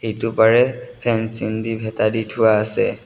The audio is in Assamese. সিটোপাৰে ফেন্সিং দি ভেটা দি থোৱা আছে।